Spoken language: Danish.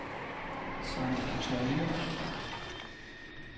San Antonio